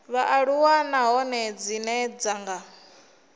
vhaaluwa nahone dzine dza nga